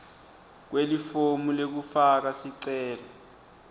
kwelifomu lekufaka sicelo